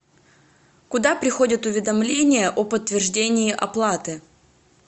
куда приходят уведомления о подтверждении оплаты